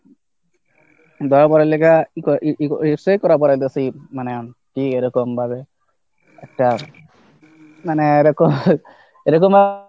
ধরা পড়ার লেইগা মানে কি এরকম ভাবে একটা মানে এরকম এরকমও